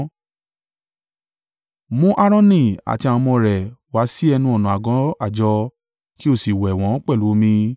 “Mú Aaroni àti àwọn ọmọ rẹ̀ wá sí ẹnu-ọ̀nà àgọ́ àjọ, kí o sì wẹ̀ wọ́n pẹ̀lú omi.